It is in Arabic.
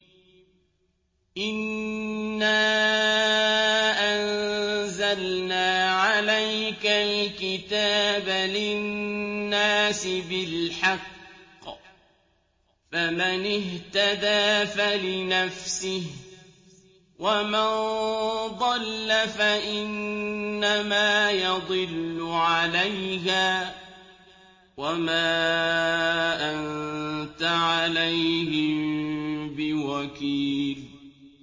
إِنَّا أَنزَلْنَا عَلَيْكَ الْكِتَابَ لِلنَّاسِ بِالْحَقِّ ۖ فَمَنِ اهْتَدَىٰ فَلِنَفْسِهِ ۖ وَمَن ضَلَّ فَإِنَّمَا يَضِلُّ عَلَيْهَا ۖ وَمَا أَنتَ عَلَيْهِم بِوَكِيلٍ